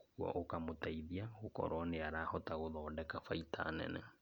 ũguo ũkamũteithia gũkorwo nĩarahota gũthondeka baita nene.